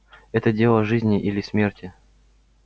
это дело жизни или смерти